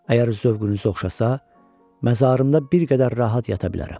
Əgər zövqünüz oxşasa, məzarımda bir qədər rahat yata bilərəm.